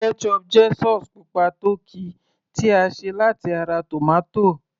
ketchup jẹ́ sauce pupa tó ki tí a ṣe láti ara tomato